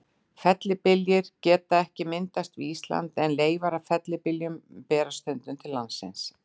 Fellibyljir geta ekki myndast við Ísland, en leifar af fellibyljum berast stundum til landsins.